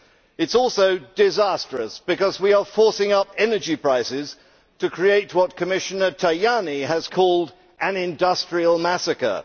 It is also disastrous, because we are forcing up energy prices to create what Commissioner Tajani has called an industrial massacre.